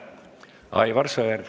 Aivar Sõerd.